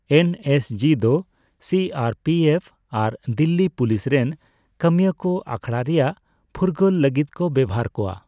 NSG, ᱫᱚ C R P F ᱟᱨ Delhi police ᱨᱮᱱ ᱠᱟᱹᱢᱤᱭᱟᱹ ᱠᱚ ᱟᱠᱷᱲᱟ ᱨᱮᱭᱟᱜ ᱯᱷᱩᱨᱜᱟᱹᱞ ᱞᱟᱹᱜᱤᱫ ᱠᱚ ᱵᱮᱣᱦᱟᱨ ᱠᱚᱣᱟ ᱾